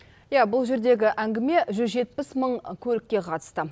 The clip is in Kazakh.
иә бұл жердегі әңгіме жүз жетпіс мың көлікке қатысты